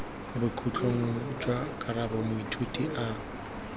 bokhutlong jwa karabo moithuti a